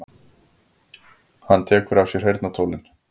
Hann tekur af sér heyrnartólin.